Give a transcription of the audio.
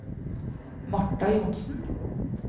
Marta Johnsen